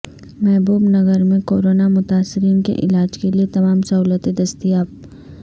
محبوب نگر میں کورونا متاثرین کے علاج کیلئے تمام سہولتیں دستیاب